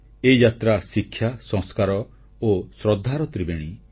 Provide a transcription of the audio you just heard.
ଏହି ଯାତ୍ରା ଶିକ୍ଷା ସଂସ୍କାର ଓ ଶ୍ରଦ୍ଧାର ତ୍ରିବେଣୀ